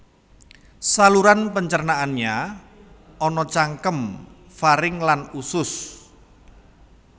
Saluran pencernaannya ana cangkem faring lan usus